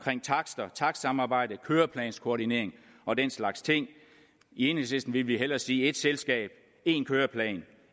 takster takstsamarbejde køreplanskoordinering og den slags ting i enhedslisten ville vi hellere sige et selskab en køreplan